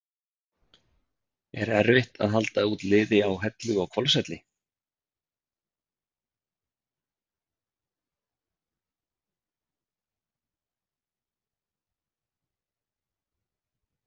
Er erfitt að halda út liði á Hellu og Hvolsvelli?